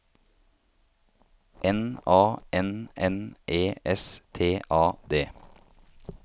N A N N E S T A D